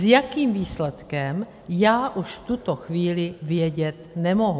S jakým výsledkem já už v tuto chvíli vědět nemohu.